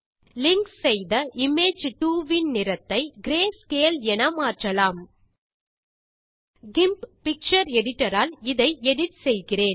link செய்த image 2இன் நிறத்தை கிரேஸ்கேல் ஆக மாற்றலாம் கிம்ப் பிக்சர் எடிட்டர் ஆல் இதை எடிட் செய்கிறேன்